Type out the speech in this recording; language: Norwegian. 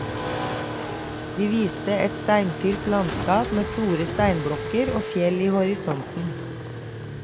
De viste et steinfylt landskap med store steinblokker og fjell i horisonten.